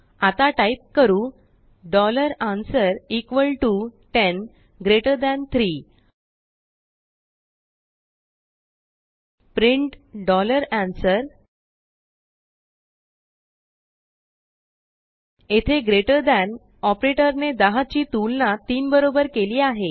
आता टाईप करू answer 10 3 print answer येथेgreater thanऑपरेटरने 10 ची तुलना 3 बरोबर केली आहे